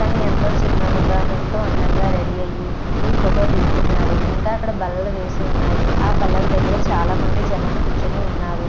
తాను ఎంతో చిరునవుగా ఎంతో అందంగా రెడీ అయ్యి ఈ ఫోటో దిగుతున్నారు ఇంకా అక్కడ బల్లలు వేసి ఉన్నాయి అ బల్లల దగ్గర చాలా మంది జనాలు కూర్చొని ఉన్నారు.